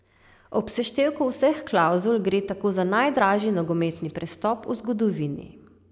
Ob seštevku vseh klavzul gre tako za najdražji nogometni prestop v zgodovini.